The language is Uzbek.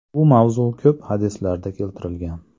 Bu mavzu ko‘p hadislarda keltirilgan.